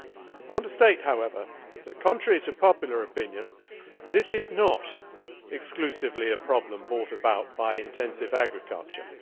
I want to state, however, that, contrary to popular opinion, this is not exclusively a problem brought about by intensive agriculture.